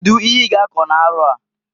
Kedu ihe i g'akọ n'arọ a?